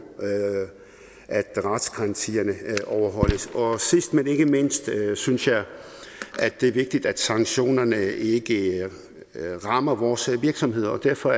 at retsgarantierne overholdes sidst men ikke mindst synes jeg at det er vigtigt at sanktionerne ikke rammer vores virksomheder og derfor